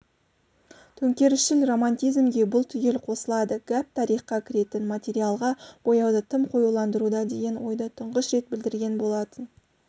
төңкерісшіл романтизмге бұл түгел қосылады гәп тарихқа кіретін материалға бояуды тым қоюландыруда деген ойды тұңғыш рет білдірген болатын